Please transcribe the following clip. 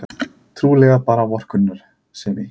Trúlega bara vorkunnsemi.